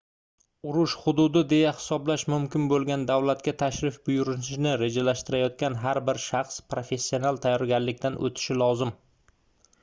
urush hududi deya hisoblash mumkin boʻlgan davlatga tashrif buyurishni rejalashtirayotgan har bir shaxs professional tayyorganlikdan oʻtishi lozim